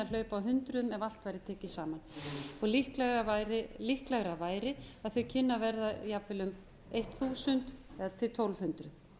hlaupa a hundruðum ef allt væri tekið saman og líklegra væri að þau kynnu að verða jafnvel um þúsund til tólf hundruð